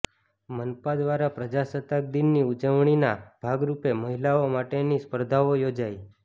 મનપા દ્વારા પ્રજાસત્તાક દિનની ઉજવણીના ભાગરુપે મહિલાઓ માટેની સ્પર્ધાઓ યોજાઇ